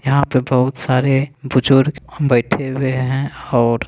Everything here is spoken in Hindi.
यहाँ पर बोहत सारे बुजुर्ग बाइठे हुए है। और--